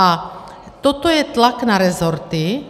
A toto je tlak na resorty.